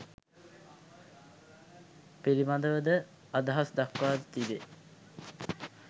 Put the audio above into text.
පිළිබඳව ද අදහස් දක්වා තිබේ